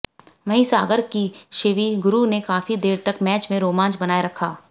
वहीं सागर की शिवि गुरु ने काफी देर तक मैच में रोमांच बनाए रखा